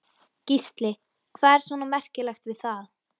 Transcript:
Gísli: Hvað er svona merkilegt við það?